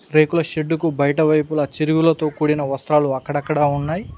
రేకుల షెడ్డుకు బయటవైపులా చిరువులతో కూడిన వస్త్రాలు అక్కడక్కడ ఉన్నాయి.